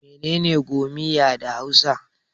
Mene ne 'gomiya' da hausa?